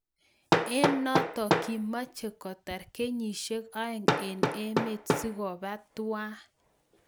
Eng notok kimachee kotar kenyisiek oeng eng emet sikopaa tuwai